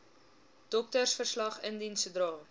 doktersverslag indien sodra